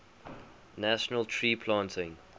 national tree planting